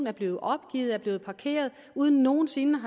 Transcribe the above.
er blevet opgivet er blevet parkeret uden nogen sinde